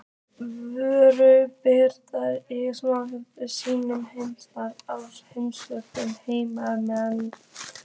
Völuspá birtir í skáldlegum sýnum heimsmynd og heimssögu heiðinna manna.